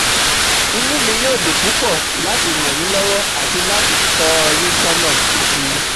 Inú mi yóò dùn púpọ̀ láti ràn yín lọ́wọ́ àti láti tọ́ ọ yín sọ́nà si